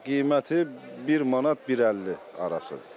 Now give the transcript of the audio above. Qiyməti bir manat 1.50 arasıdır.